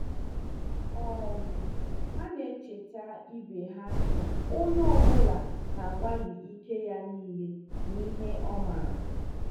um Ha na-echeta ibe ha na onye ọ bụla na-agbalị ike ya niile na ihe ọ maara.